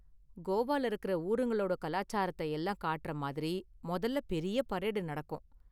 கோவால இருக்குற ஊருங்களோட கலாச்சாரத்த எல்லாம் காட்டுற மாதிரி முதல்ல பெரிய பரேடு நடக்கும்.